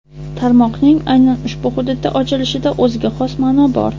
Tarmoqning aynan ushbu hududda ochilishida o‘ziga xos ma’no bor.